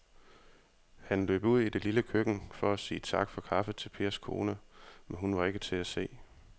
Han løb ud i det lille køkken for at sige tak for kaffe til Pers kone, men hun var ikke til at se.